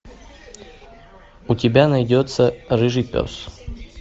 у тебя найдется рыжий пес